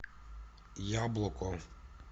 яблоко